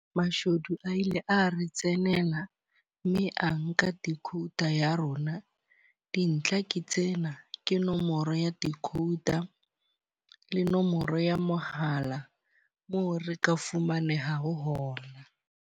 Mashodu a ile a re tsenela mme a nka decoder ya rona. Dintlha ke tsena, ke nomoro ya decoder le nomoro ya mohala moo re ka fumanehang ha hona.